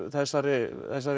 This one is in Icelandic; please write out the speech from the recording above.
þessari